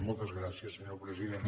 moltes gràcies senyor president